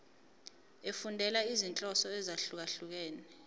efundela izinhloso ezahlukehlukene